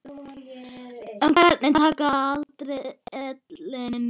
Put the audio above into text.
En hvernig taka aldraðir ellinni?